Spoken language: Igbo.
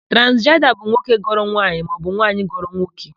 Transijenda by nwoke ghọrọ nwaanyị maọbụ nwaanyị ghọrọ nwoke.